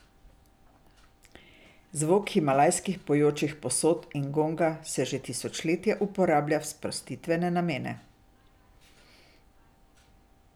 Zvok himalajskih pojočih posod in gonga se že tisočletja uporablja v sprostitvene namene.